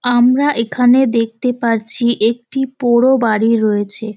আমরা এখানে দেখতে পারচ্ছি একটি পোড়ো বাড়ি রয়েছে।